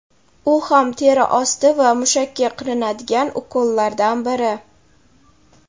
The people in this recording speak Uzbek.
u ham teri osti va mushakka qilinadigan ukollardan biri.